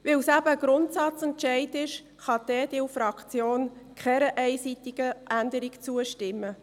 Weil es ein Grundsatzentscheid ist, kann die EDU-Fraktion keiner einseitigen Änderung zustimmen.